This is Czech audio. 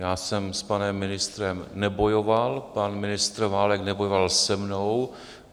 Já jsem s panem ministrem nebojoval, pan ministr Válek nebojoval se mnou.